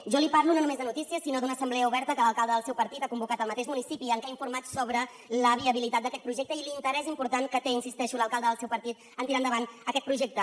jo li parlo no només de notícies sinó d’una assemblea oberta que l’alcalde del seu partit ha convocat al mateix municipi en què ha informat sobre la viabilitat d’aquest projecte i l’interès important que té hi insisteixo l’alcalde del seu partit a tirar endavant aquest projecte